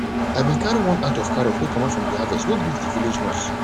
i bin carry one at of carrots wey comot from de harvest to go greet de village nurse